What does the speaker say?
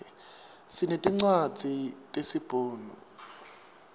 sinetincwadzi tesi bhunu